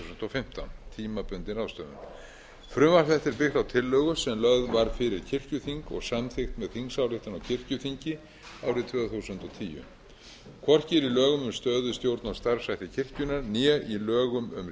og fimmtán tímabundin ráðstöfun frumvarp þetta er byggt á tillögu sem lögð var fyrir kirkjuþing og samþykkt með þingsályktun á kirkjuþingi árið tvö þúsund og tíu hvorki er í lögum um stöðu stjórn og starfshætti kirkjunnar né í lögum um réttindi og skyldur